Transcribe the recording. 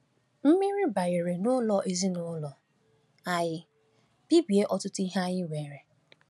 Mmiri banyeere n’ụlọ ezinụlọ anyị, bibie ọtụtụ ihe anyị nwere.